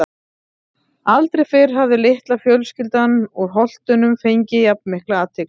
Aldrei fyrr hafði litla fjölskyldan úr Holtunum fengið jafn mikla athygli.